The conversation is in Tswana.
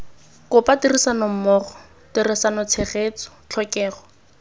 kopa tirisanommogo tirisano tshegetso tlhokego